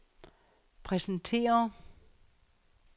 præsentere